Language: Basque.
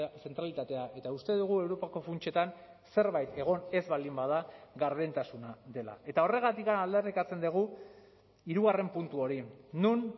zentralitatea eta uste dugu europako funtsetan zerbait egon ez baldin bada gardentasuna dela eta horregatik aldarrikatzen dugu hirugarren puntu hori non